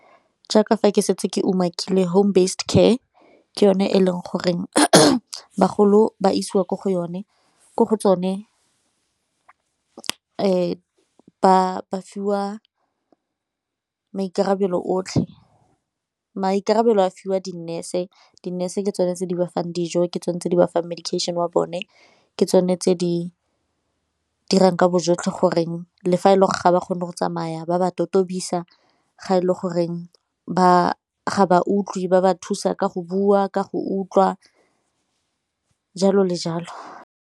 Jaaka fa ke setse ke omakile home based care ke yone e leng goreng bagolo ba isiwa ko go yone, ko go tsone ba fiwa maikarabelo otlhe. Maikarabelo a fiwa di-nurse, di-nurse ke tsone tse di ba fang dijo ke tsone tse di ba fang medication wa bone ke tsone tse di dirang ka bo jotlhe goreng le fa e le ga ba kgone go tsamaya ba ba totobisa, ga e le goreng ga ba utlwe ba ba thusa ka go bua ka go utlwa jalo le jalo.